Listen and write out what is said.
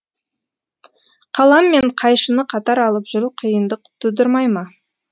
қалам мен қайшыны қатар алып жүру қиындық тудырмай ма